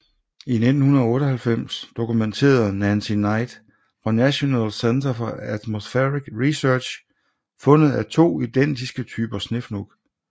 I 1998 dokumenterede Nancy Knight fra National Center for Atmospheric Research fundet af to identiske typer snefnug